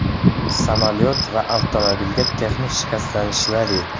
Samolyot va avtomobilga texnik shikastlanishlar yetgan.